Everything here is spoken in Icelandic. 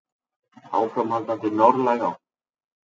Áframhaldandi norðlæg átt